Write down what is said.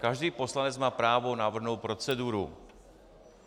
Každý poslanec má právo navrhnout proceduru.